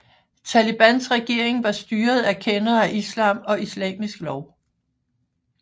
Talibans regering var styret af kendere af Islam og islamisk lov